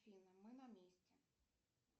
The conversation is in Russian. афина мы на месте